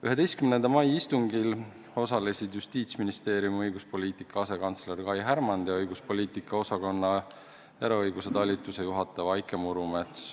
11. mai istungil osalesid Justiitsministeeriumi õiguspoliitika asekantsler Kai Härmand ja õiguspoliitika osakonna eraõiguse talituse juhataja Vaike Murumets.